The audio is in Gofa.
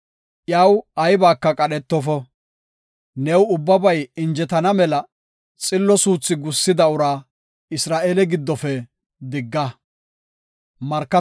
Iyaw aybaka qadhetofa; new ubbabay injetana mela, xillo suuthi gussida uraa Isra7eele giddofe digga.